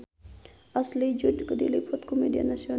Ashley Judd diliput ku media nasional